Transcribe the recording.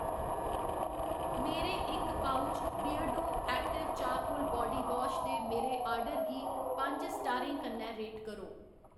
मेरे इक pouch Beardo सक्रिय चारकोल बाडीवाश दे मेरे आर्डर गी पंज स्टारें कन्नै रेट करो